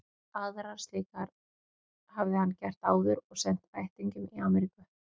Aðrar slíkar hafði hann gert áður og sent ættingjum í Amríku.